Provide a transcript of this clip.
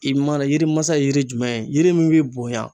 I mana yirimasa ye yiri jumɛn ye, yiri min be bonya